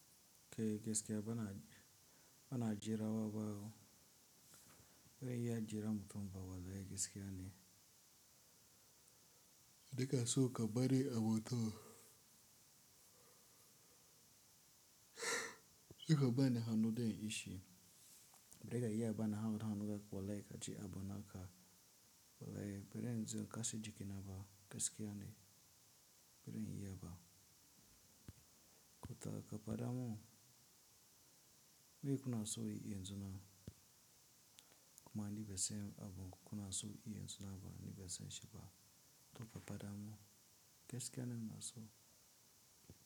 Kai gaskiya bana, bana jira wa ba ho. Bana iya jiran mutum ba fa gaskiya ne. Daga so ka bari abota kika bani hannu da yin ishi. Bari ka yi bana hanu da kwale ka ji abona ka. Wallahi bari in ji kasaji kina ba gaskiya ne bari in yi bana. Ko ta ka pada mu, me kuna so in yi yanzu? Kuma an yi basai abun kuna so yi in suna ba an yi basai shi ba. To ka pada mu gaskiya nan na so.